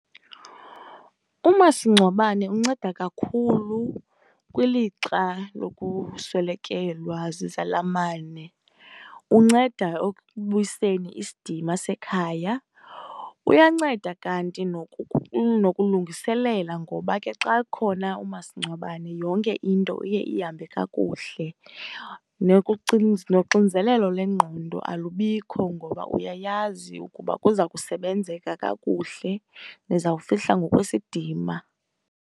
Umasingcwabane unceda kakhulu kwilixa lokuswelekelwa zizalamane. Unceda ekubuyiseni isidima sekhaya. Uyanceda kanti nokulungiselela ngoba xa ekhona umasingcwabane, yonke into iye ihambe kakuhle. Noxinzelelo lwengqondo alubikho ngoba uyayazi kuza kusebenzeka kakuhle, nizawufihla ngokwesidima.